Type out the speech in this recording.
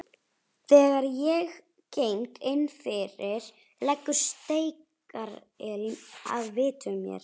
Þegar ég geng innfyrir leggur steikarilm að vitum mér.